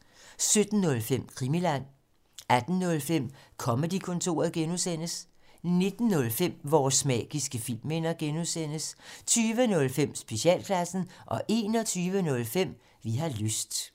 17:05: Krimiland 18:05: Comedy-kontoret (G) 19:05: Vores magiske filmminder (G) 20:05: Specialklassen 21:05: Vi har lyst